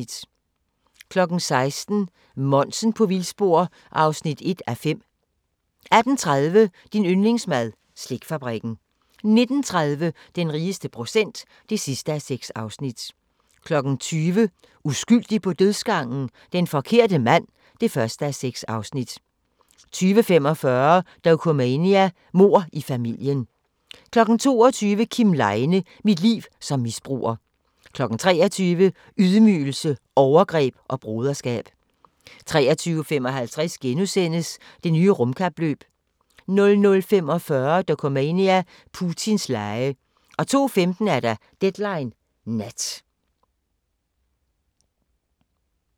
16:00: Monsen på vildspor (1:5) 18:30: Din yndlingsmad: Slikfabrikken 19:30: Den rigeste procent (6:6) 20:00: Uskyldig på dødsgangen? Den forkerte mand (1:6) 20:45: Dokumania: Mord i familien 22:00: Kim Leine – mit liv som misbruger 23:00: Ydmygelse, overgreb og broderskab 23:55: Det nye rumkapløb * 00:45: Dokumania: Putins lege 02:15: Deadline Nat